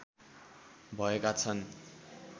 भएका छन्